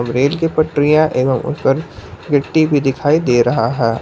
Rail की पटरियां एवं उनपर गिट्टी भी दिखाई दे रहा है।